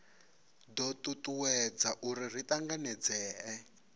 do tutuwedza uri ri tanganedzee